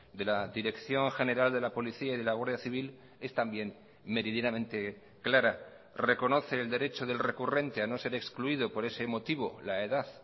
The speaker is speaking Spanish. de la dirección general de la policía y de la guardia civil es también meridianamente clara reconoce el derecho del recurrente a no ser excluido por ese motivo la edad